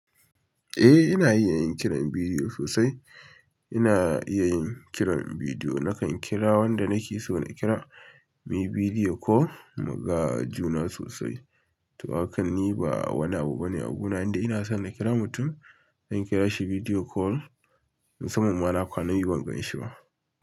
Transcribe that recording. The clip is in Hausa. Eh, ina iya yin kiran bidiyo sosai. Ina iya yin kiran bidiyo. Nakan kira wanda nake so na kira, muyi bidiyo ko mu ga juna sosai. To, hakanni ba wani abu bane a guna. Indai ina son na kira mutum, zan kira shi bidiyo call, musanman ma na kwana biyu ban gan shi ma.